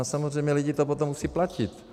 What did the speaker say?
A samozřejmě lidi to potom musí platit.